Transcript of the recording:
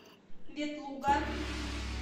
ветлуга